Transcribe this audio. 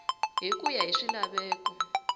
hi ku ya hi swilaveko